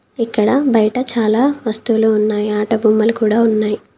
ఇక్కడ బయట చాలా వస్తువులు ఉన్నాయి ఆట బొమ్మలు కూడా ఉన్నాయి.